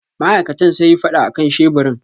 Ma'aikatan sayi fada akan sheburin.